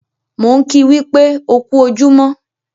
Mò ń kìí wípé "ó kú ojúmọ́"